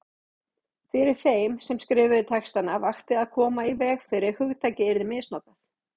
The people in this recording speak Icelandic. Fyrir þeim sem skrifuðu textana vakti að koma í veg fyrir að hugtakið yrði misnotað.